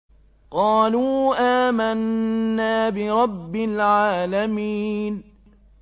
قَالُوا آمَنَّا بِرَبِّ الْعَالَمِينَ